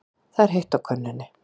Það er heitt á könnunni.